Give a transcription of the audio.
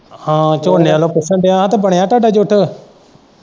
ਹਾਂ ਝੋਨੇ ਵੱਲੋਂ ਪੁੱਛਣ ਦਿਆਂ ਤਾਂ ਬਣਿਆ ਤੁਹਾਡਾ ਜੁੱਟ।